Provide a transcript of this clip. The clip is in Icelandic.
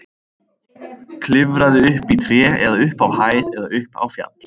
Klifraðu upp í tré eða upp á hæð eða upp á fjall.